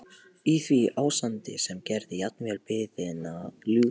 Í því ástandi sem gerði jafnvel biðina ljúfa.